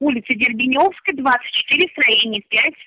улица дербеневская двадцать четыре строение пять